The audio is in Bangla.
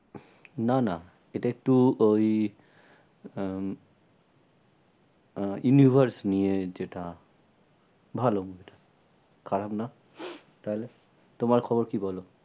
না না এটা একটু ওই উম আহ universe নিয়ে যেটা ভালো movie টা খারাপ না তাহলে? তোমার খবর কি বলো?